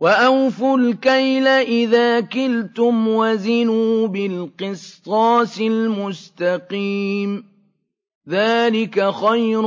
وَأَوْفُوا الْكَيْلَ إِذَا كِلْتُمْ وَزِنُوا بِالْقِسْطَاسِ الْمُسْتَقِيمِ ۚ ذَٰلِكَ خَيْرٌ